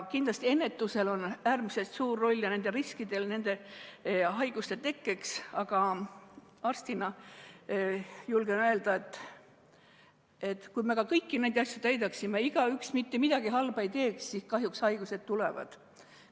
Kindlasti on äärmiselt suur roll ennetusel ja haiguste tekke riskidel, aga arstina julgen öelda, et kui me ka kõiki neid asju täidaksime ja keegi mitte midagi halba ei teeks, siis kahjuks haigused ikka tuleksid.